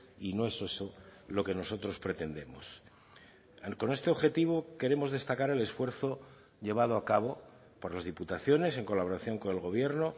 y no es eso lo que nosotros pretendemos con este objetivo queremos destacar el esfuerzo llevado a cabo por las diputaciones en colaboración con el gobierno